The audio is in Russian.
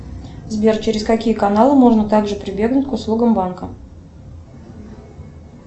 сбер через какие каналы можно также прибегнуть к услугам банка